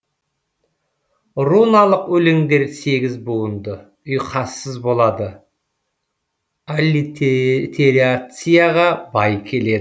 руналық өлеңдер сегіз буынды ұйқассыз болады аллитерацияға бай келеді